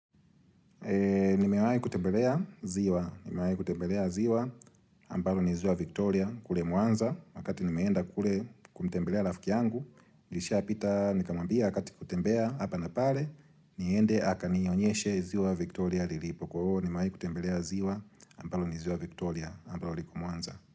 Nimewahi kutembelea ziwa, nimewahi kutembelea ziwa ambalo ni ziwa Victoria kule mwanza, wakati nimeenda kule kumtembelea rafiki yangu, nishapita nikamwambia wakati kutembea hapa na pale, niende aka nionyeshe ziwa Victoria lilipo kua nimewahi kutembelea ziwa ambalo ni ziwa Victoria ambalo liko mwanza.